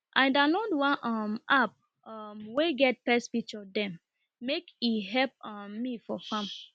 i download one um app um wey get pest picture dem make e help um me for farm